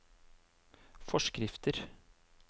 forskrifter